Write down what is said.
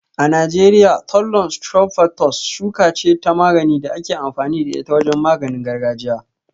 A Najeriya, Thollon strophanthus shuka ce ta magani da ake amfani da ita wajen maganin gargajiya.